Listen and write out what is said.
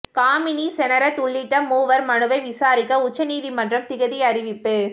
காமினி செனரத் உள்ளிட்ட மூவர் மனுவை விசாரிக்க உச்ச நீதிமன்றம் திகதி அறிவிப்பு